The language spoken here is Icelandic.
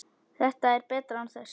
Þetta er betra án þess.